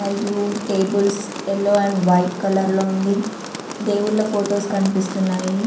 మరియు tables yellow and white colour లో ఉంది. దేవుళ్ళ ఫొటోస్ కనిపిస్తున్నాయి.